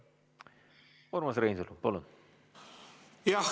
Urmas Reinsalu, palun!